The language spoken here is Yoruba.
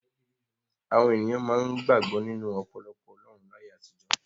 Àwọn ènìyàn máa ń gbàgbọ́ nínú ọ̀pọ̀lọpọ̀ ọlọ́run láyé àtijọ́.